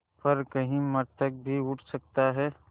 पर कहीं मृतक भी उठ सकता है